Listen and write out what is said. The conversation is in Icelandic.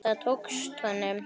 Það tókst honum.